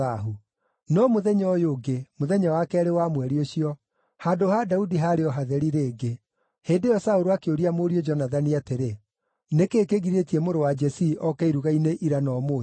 No mũthenya ũyũ ũngĩ, mũthenya wa keerĩ wa mweri ũcio, handũ ha Daudi haarĩ o hatheri rĩngĩ. Hĩndĩ ĩyo Saũlũ akĩũria mũriũ Jonathani atĩrĩ, “Nĩ kĩĩ kĩgirĩtie mũrũ wa Jesii oke iruga-inĩ ira na ũmũthĩ?”